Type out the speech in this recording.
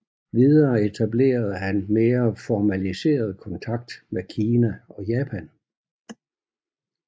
Videre etablerede han mere formaliseret kontakt med Kina og Japan